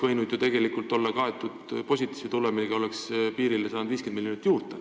... võinud ju tegelikult olla kaetud positiivse tulemiga, siis oleks saanud piirile 50 miljonit eurot juurde.